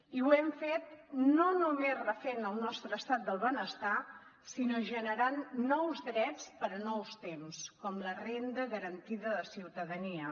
i ho hem fet no només refent el nostre estat del benestar sinó generant nous drets per a nous temps com la renda garantida de ciutadania